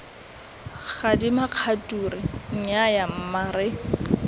gadima kgature nnyaya mma re